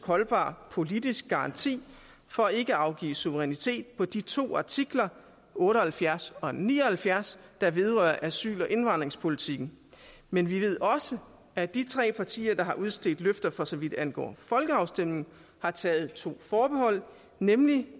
holdbar politisk garanti for ikke at afgive suverænitet på de to artikler otte og halvfjerds og ni og halvfjerds der vedrører asyl og indvandringspolitikken men vi ved også at de tre partier der har udstedt løfter for så vidt angår folkeafstemningen har taget to forbehold nemlig